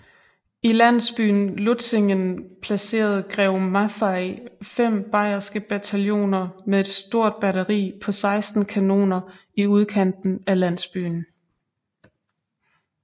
I landsbyen Lutzingen placerede grev Maffei fem bayerske bataljoner med et stort batteri på 16 kanoner i udkanten af landsbyen